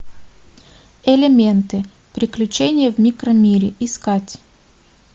элементы приключения в микромире искать